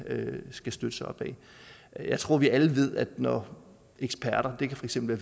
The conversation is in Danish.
skal støtte sig op ad jeg tror at vi alle ved at når eksperter det kan for eksempel